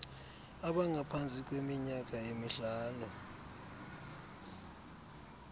abangaphantsi kweminyaka emihlanu